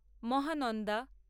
Mahananda